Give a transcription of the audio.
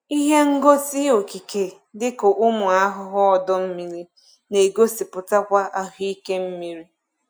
Ihe ngosi okike dịka ụmụ ahụhụ ọdọ mmiri na-egosipụtakwa ahụike mmiri.